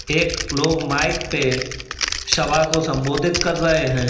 एक लोग माइक पे सभा को संबोधित कर रहे हैं।